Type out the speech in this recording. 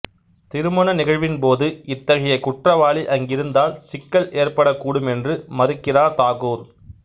திருமண நிகழ்வின்போது இத்தகைய குற்றவாளி அங்கிருந்தால் சிக்கல் ஏற்படக் கூடும் என்று மறுக்கிறார் தாகூர்